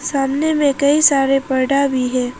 सामने में कई सारे पर्दा भी है।